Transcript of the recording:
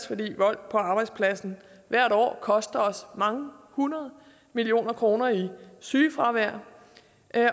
fordi vold på arbejdspladsen hvert år koster os mange hundrede millioner kroner i sygefravær